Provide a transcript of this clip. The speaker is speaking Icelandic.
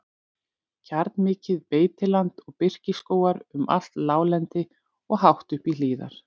Kjarnmikið beitiland og birkiskógar um allt láglendi og hátt upp í hlíðar.